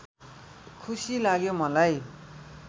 खुसी लाग्यो मलाई